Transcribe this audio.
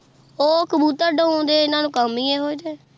ਉਹ ਕਬੂਤਰ ਡਾਊਣ ਦਏ ਇਹਨਾਂ ਨੂੰ ਕੰਮ ਹੀ ਇਹੋ ਏ ਤੇ।